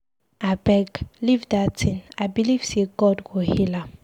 Abeg, leave dat thing, I believe say God go heal am.